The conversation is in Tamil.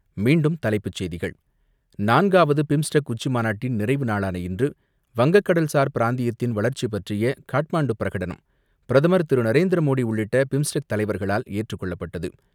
மீண்டும் தலைப்புச் செய்திகள்; நான்காவது பிம்ஸ்டெக் உச்சி மாநாட்டின் நிறைவு நாளான இன்று வங்க கடல் சார் பிராந்தியத்தின் வளர்ச்சி பற்றிய காட்மாண்டு பிரகடனம். பிரதமர் திரு நரேந்திர மோடி நரேந்திரமோடி உள்ளிட்ட பிம்ஸ்டெக் தலைவர்களால் ஏற்றுக் கொள்ளப்பட்டது.